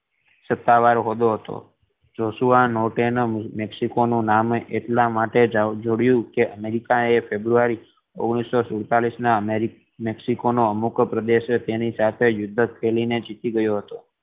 સત્તાવાર ઔદૌ હતો જોશુઆ નોર્ટન એ મેક્સિકો નુ નામ એટલા માટે જોડયું કે અમેરિકા એ ફેબ્રુઆરી ઓગણીસો સુડતાલીસ ના મેક્સિકો નો અમુક પ્રદેશ તેની સાથે યુદ્ધ કરીને જીતી ગયો હતો